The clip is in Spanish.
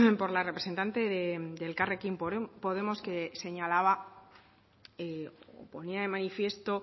por la representante de elkarrekin podemos que señalaba ponía de manifiesto